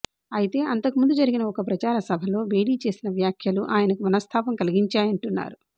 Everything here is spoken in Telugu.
అయితే అంతకు ముందు జరిగిన ఒక ప్రచార సభలో బేడీ చేసిన వ్యాఖ్యలు ఆయనకు మనస్థాపం కలిగించాయంటున్నారు